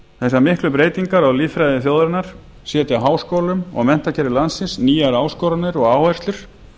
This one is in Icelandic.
þessar miklu breytingar á lýðfræði þjóðarinnar setja háskólum og menntakerfi landsins nýjar áskoranir og áherslur